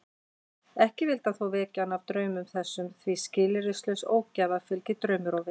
Ekki vildi hann þó vekja hana af draumum þessum því skilyrðislaus ógæfa fylgir draumrofi.